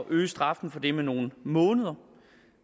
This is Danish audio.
at øge straffen for det med nogle måneder